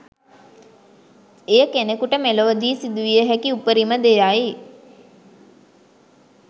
එය කෙනෙකුට මෙලොවදී සිදු විය හැකි උපරිම දෙයයි.